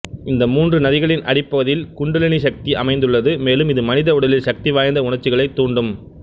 இந்த மூன்று நதிகளின் அடிப்பகுதியில் குண்டலினி சக்தி அமைந்துள்ளது மேலும் இது மனித உடலில் சக்திவாய்ந்த உணர்ச்சிகளைத் தூண்டும்